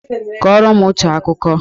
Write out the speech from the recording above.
Kọrọ m otu akụkọ!